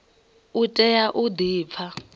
u tea u di pfa